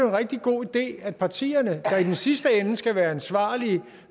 en rigtig god idé at partierne her i den sidste ende skal være ansvarlige